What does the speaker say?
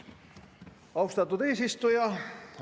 Austatud eesistuja!